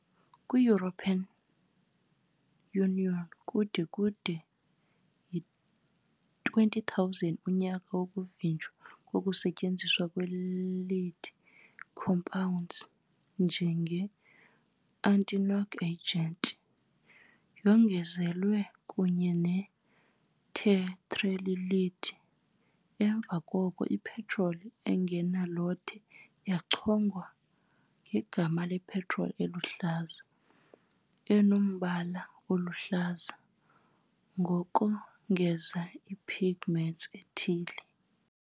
Kwi- European Union kude kube yi-20000, unyaka wokuvinjelwa kokusetyenziswa kwe -lead compounds njenge-anti-knock agents, yongezwa kunye ne -tetraethyl lead . Emva koko, i-petroli engenalothe yachongwa ngegama "lepetroli eluhlaza", enombala oluhlaza ngokongeza i-pigments ethile.